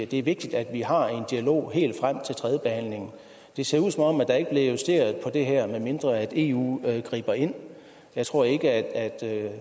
det er vigtigt at vi har en dialog helt frem til tredjebehandlingen det ser ud som om der ikke bliver justeret på det her medmindre eu griber ind jeg tror ikke at herre